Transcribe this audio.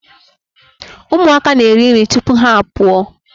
Ụmụaka a na-eriri nri tupu ha a pụọ.